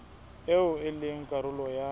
eo e leng karolo ya